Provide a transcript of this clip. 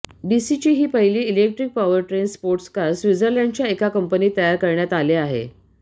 डीसीची ही पहिली electric powertrain sports car स्विर्झलँडच्या एका कंपनीत तयार करण्यात आले आहे